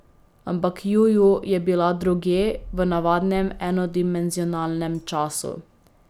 Ampak Juju je bila drugje, v navadnem, enodimenzionalnem času.